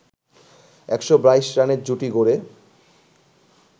১২২ রানের জুটি গড়ে